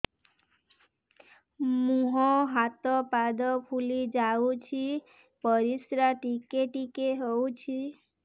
ମୁହଁ ହାତ ପାଦ ଫୁଲି ଯାଉଛି ପରିସ୍ରା ଟିକେ ଟିକେ ହଉଛି